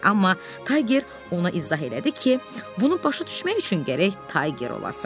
Amma Tayger ona izah elədi ki, bunu başa düşmək üçün gərək Tayger olasan.